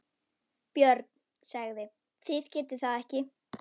BJÖRN: Það getið þér ekki.